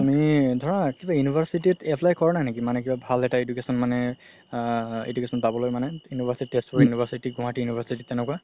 তুমি ধৰা কিবা university ত apply কৰা নাই নেকি কিবা ভাল এটা education মানে আ education পাবলৈ মানে তেজপুৰ university গুৱাহাতি university তেনেকুৱা